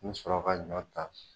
N mi sɔrɔ ka ɲɔ ta